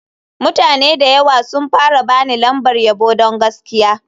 Mutane da yawa sun fara ba ni lambar yabo don gaskiya.